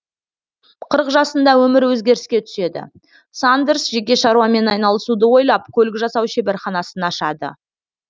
қырық жасында өмірі өзгеріске түседі сандерс жеке шаруамен айналысуды ойлап көлік жасау шеберханасын ашады